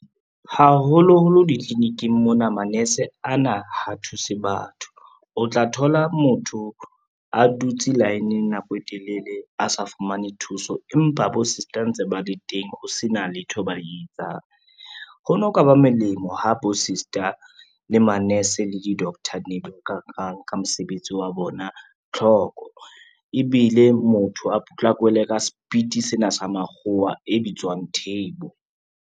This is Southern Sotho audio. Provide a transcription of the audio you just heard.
Haholoholo ditliliniking mona manese ana ha thuse batho. O tla thola motho a dutse line-ng nako e telele a sa fumane thuso, empa bo sister ntse ba le teng ho sena letho ba e etsang. Ho no ka ba molemo ha bo sister, le ma-nurse, le di-doctor ne di ka ka mosebetsi wa bona tlhoko, ebile motho a potlakelwe ka speed sena sa makgowa e bitswang turbo.